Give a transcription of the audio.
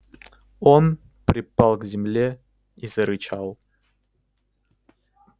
он припал к земле и зарычал